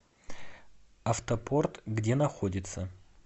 автопорт где находится